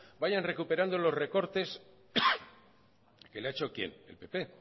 vayan recuperando los recortes que le ha hecho quién el pp el